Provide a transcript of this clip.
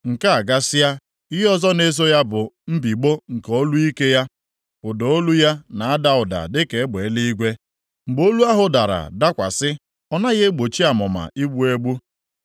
Nke a gasịa, ihe ọzọ na-eso ya bụ mbigbọ nke olu ike ya; ụda olu ya na ada ụda dịka egbe eluigwe, mgbe olu ahụ dara dakwasị, ọ naghị egbochi amụma igbu egbu.